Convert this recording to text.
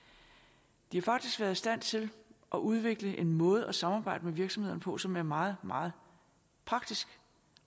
de har faktisk været i stand til at udvikle en måde at samarbejde med virksomhederne på som er meget meget praktisk